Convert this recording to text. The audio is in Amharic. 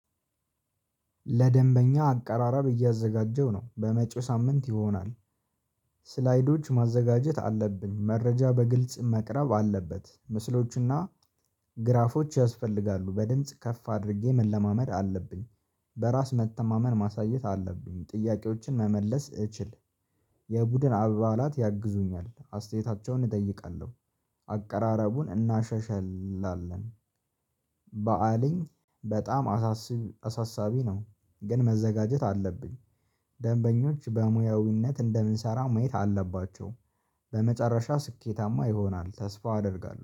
ለደንበኛ አቀራረብ እያዘጋጀው ነው በመጪው ሳምንት ይሆናል። ስላይዶች ማዘጋጀት አለብን መረጃ በግልጽ መቅረብ አለበት ምስሎችና ግራፎች ያስፈልጋሉ በድምጽ ከፍ አድርጌ መለማመድ አለብኝ። በራስ መተማመን ማሳየት አለብኝ ጥያቄዎችን መመለስ እችል። የቡድን አባላት ያግዙኛል አስተያየታቸውን እጠይቃለሁ አቀራረቡን እናሻሽላለን። በዓልን በጣም አሳስቢ አሳሳቢ ነው። ግን መዘጋጀት አለብኝ። ደንበኞች በሙያዊነት እንደምንሰራ ማየት አለባቸው። በመጨረሻ ስኬታማ ይሆናል ተስፋ አደርጋለሁ